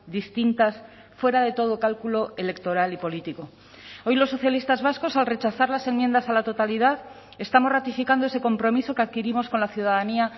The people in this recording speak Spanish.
distintas fuera de todo cálculo electoral y político hoy los socialistas vascos al rechazar las enmiendas a la totalidad estamos ratificando ese compromiso que adquirimos con la ciudadanía